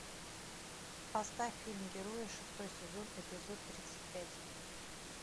поставь фильм герои шестой сезон эпизод тридцать пять